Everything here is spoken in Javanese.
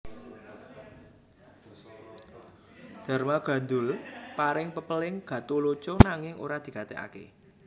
Darmagandhul paring pepéling Gatholoco nanging ora digatèkaké